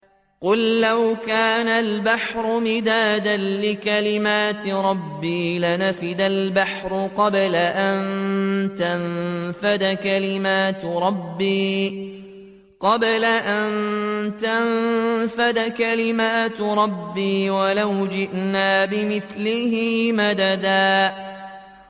قُل لَّوْ كَانَ الْبَحْرُ مِدَادًا لِّكَلِمَاتِ رَبِّي لَنَفِدَ الْبَحْرُ قَبْلَ أَن تَنفَدَ كَلِمَاتُ رَبِّي وَلَوْ جِئْنَا بِمِثْلِهِ مَدَدًا